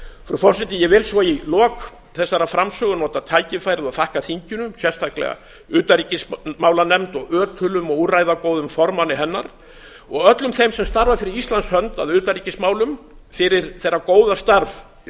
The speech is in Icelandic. frú forseti ég vil svo í lok þessarar framsögu nota tækifærið og þakka þinginu sérstaklega utanríkismálanefnd og ötulum og úrræðagóðum formanni hennar og öllum þeim sem starfa fyrir íslands hönd að utanríkismálum fyrir þeirra góða starf í